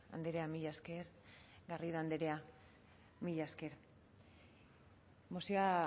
andrea mila esker garrido andrea mila esker mozioa